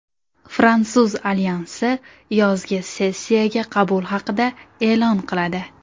Fransuz alyansi yozgi sessiyaga qabul haqida e’lon qiladi.